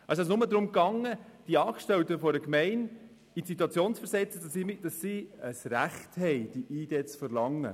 Es ging also nur darum, die Angestellten einer Gemeinde in die Situation zu versetzen, dass sie ein Recht haben, die ID zu verlangen.